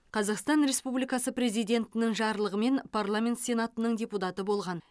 қазақстан республикасы президентінің жарлығымен парламент сенатының депутаты болған